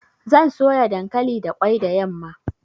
Zan soya dankali da ƙwai da yamma.